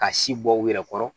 Ka si bɔ u yɛrɛ kɔrɔ